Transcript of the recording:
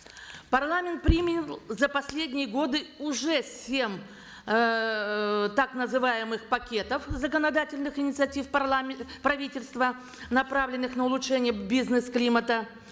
парламент принял за последние годы уже семь эээ так называемых пакетов законодательных инициатив правительства направленных на улучшение бизнес климата